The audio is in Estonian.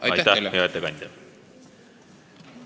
Aitäh, hea ettekandja!